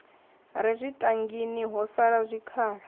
re zwitangini ho salaho zwikhala